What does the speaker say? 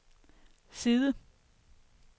side